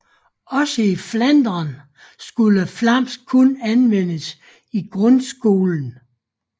Også i Flandern skulle flamsk kun anvendes i grundskolen